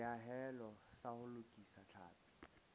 seahelo sa ho lokisa tlhapi